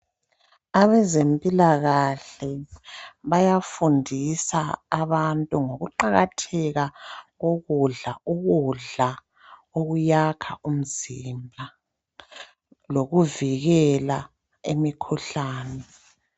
Abezempilakahle bayafundisa abantu ngokuqakatheka kokudla ukuyakha umzimba lokuvikela imikhuhlane.